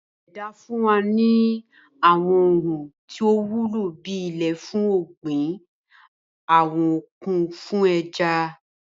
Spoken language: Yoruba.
Ìṣẹ̀dá fún wa ní àwọn ohun tí ó wúlò bí ilẹ̀ fún ọ̀gbìn, àwọn òkun fún ẹja